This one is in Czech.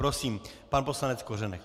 Prosím, pan poslanec Kořenek.